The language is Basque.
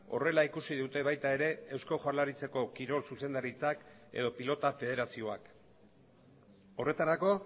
horrela ikusi dute baita ere eusko jaurlaritzako kirol zuzendaritzak edo pilota federazioak horretarako